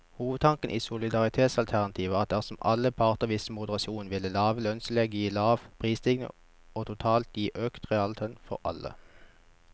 Hovedtanken i solidaritetsalternativet var at dersom alle parter viste moderasjon, ville lave lønnstillegg gi lav prisstigning og totalt gi økt reallønn for alle.